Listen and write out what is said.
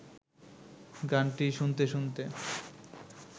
গানটি শুনতে শুনতে